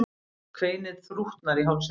Hást kveinið þrútnar í hálsinum.